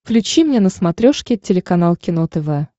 включи мне на смотрешке телеканал кино тв